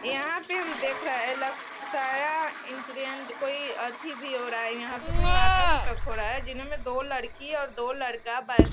यहाँ पे हम देख रहे हैं लक्स कोई ऐथी भी हो रहा है | यहाँ पे कोई नाटक-उटक हो रहा है जिनमे दो लड़की और दो लड़का बै --